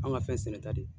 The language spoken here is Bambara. An ka fɛn sɛnɛ ta de